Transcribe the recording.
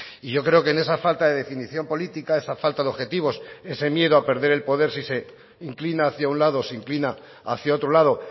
y yo creo que en esa falta de definición política esa falta de objetivos ese miedo a perder el poder si se inclina hacia un lado o se inclina hacia otro lado